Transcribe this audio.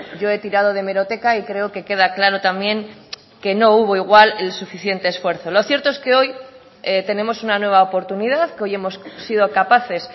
yo he tirado de hemeroteca y creo que queda claro también que no hubo igual el suficiente esfuerzo lo cierto es que hoy tenemos una nueva oportunidad que hoy hemos sido capaces